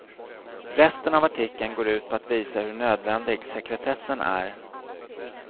Resten av artikeln går ut på att visa hur nödvändig sekretessen är.